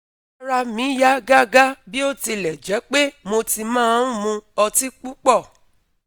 Ara mi ya gaga biotilejepe mo ti ma n mu oti pupo